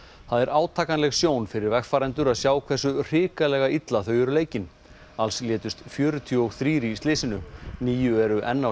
það er átakanleg sjón fyrir vegfarendur að sjá hversu hrikalega illa þau eru leikin alls létust fjörutíu og þrír í slysinu níu eru enn á